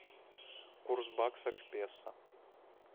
курс бакса к песо